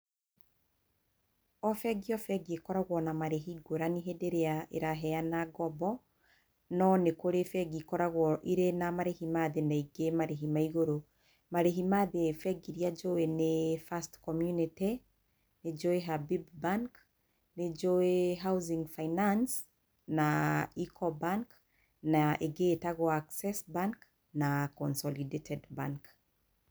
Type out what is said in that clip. O bengi o bengi ĩkoragwo na marĩhi ngũrani hĩndĩ ĩrĩa ĩraheana ngombo, no nĩ kũrĩ bengi ikoragwo na marĩhi ma thĩ, na ingĩ marĩhi ma igũrũ. Marĩhi ma thĩ, bengi iria njũĩ nĩ First Community, nĩ njũĩ HABIB BANK, nĩ njũĩ Housing Finance, na Ecobank, na ĩngĩ ĩtagũo Access Bank na Consolidated Bank.